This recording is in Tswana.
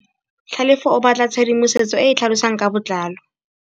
Tlhalefô o batla tshedimosetsô e e tlhalosang ka botlalô.